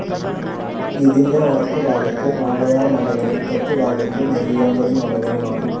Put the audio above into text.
ഇതിൻ്റെ വടക്കുഭാഗത്ത് വാളയാർ മലകളും തെക്കുഭാഗത്ത് നെല്ലിയാമ്പതി മലകളുമാണ്.